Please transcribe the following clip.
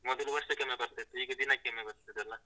ಮೊದಲು ವರ್ಷಕ್ಕೊಮ್ಮೆ ಬರ್ತಾ ಇತ್ತು, ಈಗ ದಿನಕ್ಕೊಮ್ಮೆ ಬರ್ತದೆ ಅಲಾ?